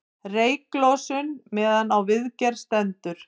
Reyklosun meðan á viðgerð stendur